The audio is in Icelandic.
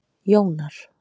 Jónar